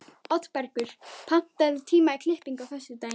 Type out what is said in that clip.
Oddbergur, pantaðu tíma í klippingu á föstudaginn.